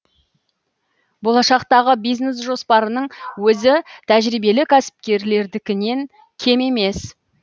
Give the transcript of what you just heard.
болашақтағы бизнес жоспарының өзі тәжірибелі кәсіпкерлердікінен кем емес